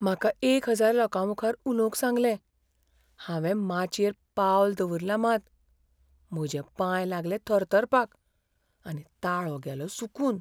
म्हाका एक हजार लोकांमुखार उलोवंक सांगलें. हावें माचयेर पावल दवरलां मात, म्हजे पांय लागले थरथरपाक आनी ताळो गेलो सुकून.